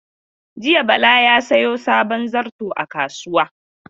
Jiya Bala ya sayo sabon zarto a kasuwa.